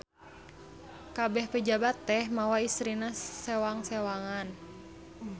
Kabeh pejabat teh mawa istrina sewang-sewangan.